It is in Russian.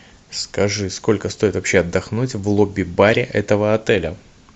скажи сколько стоит вообще отдохнуть в лобби баре этого отеля